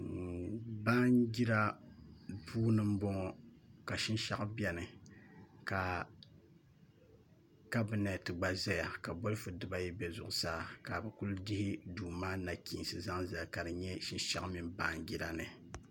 Baanjira puuni n bɔŋɔ ka shinshaɣu biɛni ka kabinɛt gba ʒɛya ka bolifu dibayi bɛ zuɣusaa ka bi dihi duu maa nachiinsi zali ka dinyɛ shinshaɣu mini baanjira ni